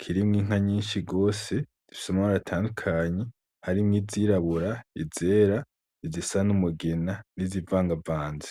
kirimwo Inka nyinshi gose zifise amabara atandukanye, harimwo izirabura, izera, izisa n'umugina, n'izivangavanze.